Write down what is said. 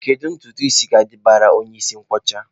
Kedu ntutu isi ga-adabara onye isi nkwọcha?